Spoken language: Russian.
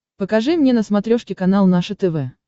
покажи мне на смотрешке канал наше тв